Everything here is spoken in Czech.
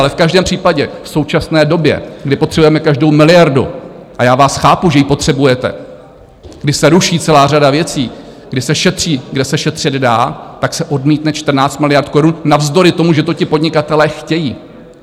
Ale v každém případě v současné době, kdy potřebujeme každou miliardu - a já vás chápu, že ji potřebujete, když se ruší celá řada věcí, kdy se šetří, kde se šetřit dá - tak se odmítne 14 miliard korun navzdory tomu, že to ti podnikatelé chtějí.